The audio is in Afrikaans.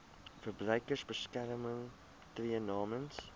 verbruikersbeskermer tree namens